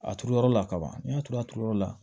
A turuyɔrɔ la kaban n'i y'a turu a turu yɔrɔ la